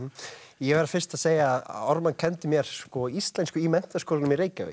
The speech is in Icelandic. ég verð fyrst að segja að Ármann kenndi mér íslensku í Menntaskólanum í Reykjavík